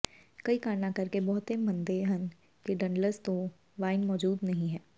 ਕਈ ਕਾਰਨਾਂ ਕਰਕੇ ਬਹੁਤੇ ਮੰਨਦੇ ਹਨ ਕਿ ਡੰਡਲਜ਼ ਤੋਂ ਵਾਈਨ ਮੌਜੂਦ ਨਹੀਂ ਹੈ